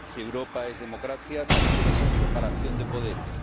Si Europa es democracia, también debe ser separación de poderes.